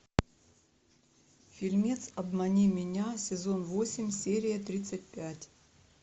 фильмец обмани меня сезон восемь серия тридцать пять